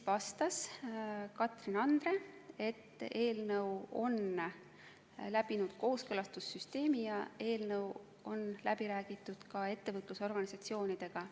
Katrin Andre vastas, et eelnõu on läbinud kooskõlastussüsteemi ja selle sisu on läbi räägitud ka ettevõtlusorganisatsioonidega.